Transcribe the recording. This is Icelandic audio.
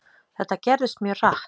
Þetta gerðist mjög hratt.